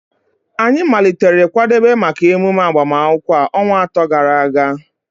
Anyị malitere kwadebe maka emume agbamakwụkwọ a ọnwa atọ gara aga